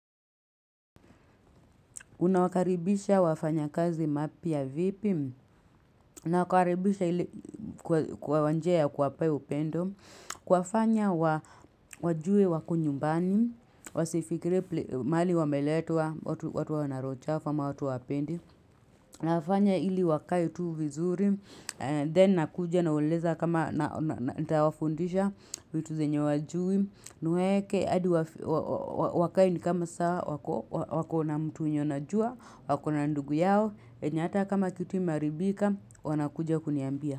Unawakaribisha wafanyakazi mapya vipi, nakaribisha ili kwa wa njia kuwapea upendo, kuwafanya wajue wako nyumbani, wasifikire mali wameletwa, watu wana roo chafu ama watu wapendi, nafanya ili wakae tu vizuri, then nakuja nauleza kama nitawafundisha vitu zenye wajui, nweke adi wakae ni kama saa wako wako na mtu wenye wanajua wakona ndugu yao enye ata kama kitu imearibika wanakuja kuniambia.